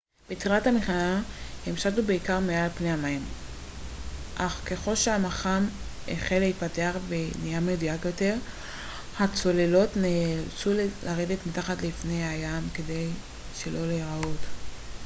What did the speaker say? בתחילת המלחמה הן שטו בעיקר מעל פני המים אך ככל שהמכ ם החל להתפתח ונהיה מדויק יותר הצוללות נאלצו לרדת מתחת לפני המים כדי שלא להיראות